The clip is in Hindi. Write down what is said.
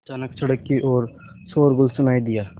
अचानक सड़क की ओर शोरगुल सुनाई दिया